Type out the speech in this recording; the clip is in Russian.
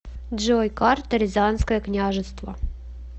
джой карта рязанское княжество